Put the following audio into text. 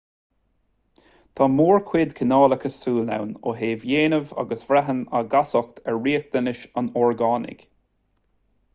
tá mórchuid cineálacha súl ann ó thaobh déanaimh agus braitheann a gcastacht ar riachtanais an orgánaigh